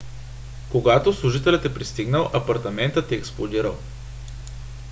когато служителят е пристигнал апартаментът е експлодирал